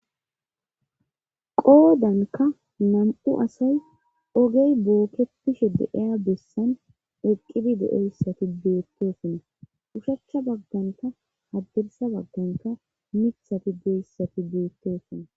qoodanka nam7u asay ogey bookepishe deeya bessan eqqidi de7eyssati beettosona ushachcha bagganka haddirsa bagganka mithati deyssati beettosona